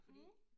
Mh